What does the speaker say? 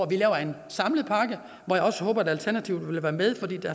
vi laver en samlet pakke og hvor jeg også håber at alternativet vil være med